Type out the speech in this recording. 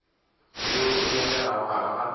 yeo e nyakegago gare ga